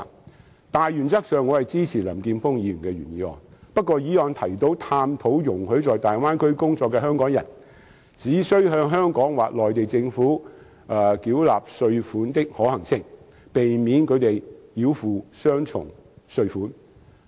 在大原則上，我支持林健鋒議員的原議案，而原議案提及"探討容許在大灣區工作的香港人，只須向香港或內地政府繳納稅款的可行性，避免他們繳付雙重稅款"。